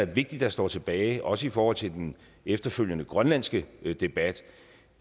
vigtige der står tilbage også i forhold til den efterfølgende grønlandske debat